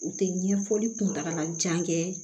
U tɛ ɲɛfɔli kuntagala jan kɛ